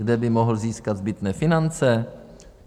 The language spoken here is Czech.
Kde by mohl získat zbytné finance?